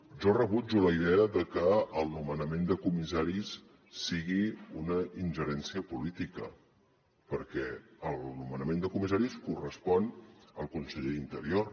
jo rebutjo la idea de que el nomenament de comissaris sigui una ingerència política perquè el nomenament de comissaris correspon al conseller d’interior